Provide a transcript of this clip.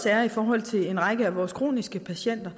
er i forhold til en række af vores kroniske patienter